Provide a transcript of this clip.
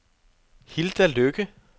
Hilda Lykke